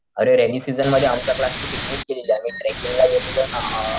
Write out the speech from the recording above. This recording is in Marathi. अरे रेनी सिसन मध्ये आमच्या क्लास ची पिकनिक गेलेली आम्ही ट्रेकिंग ला गेलेलो ना अ